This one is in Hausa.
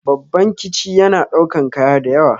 Babban kici yana ɗaukan kaya dayawa